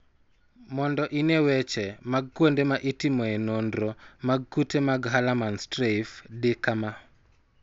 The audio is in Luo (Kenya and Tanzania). Mondo ine weche mag kuonde ma itimoe nonro mag kute mag Hallermann Streiff, di kama.